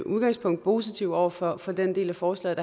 udgangspunkt positive over for for den del af forslaget